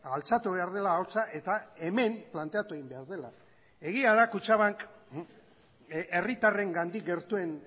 altxatu behar dela ahotsa eta hemen planteatu egin behar dela egia da kutxabank herritarrengandik gertuen